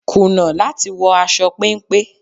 Kùnà láti wọ aṣọ péńpé.